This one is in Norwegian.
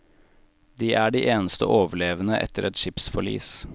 De er de eneste overlevende etter et skipsforlis.